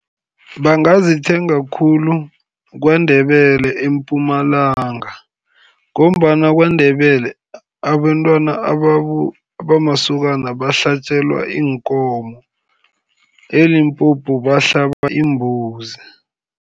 Bangazithenga khulu KwaNdebele eMpumalanga, ngombana KwaNdebele abentwana abamasokana bahlatjelwa iinkomo, e-Limpopo bahlaba iimbuzi.